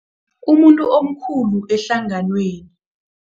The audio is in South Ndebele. Umuntu omkhulu ehlanganweni.